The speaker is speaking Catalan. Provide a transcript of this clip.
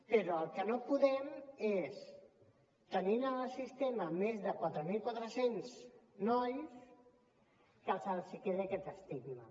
però el que no podem és tenint en el sistema més de quatre mil quatre cents nois que se’ls quedi aquest estigma